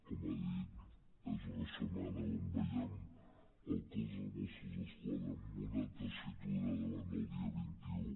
com ha dit és una setmana on veiem el cos de mossos d’esquadra en una tessitura davant del dia vint un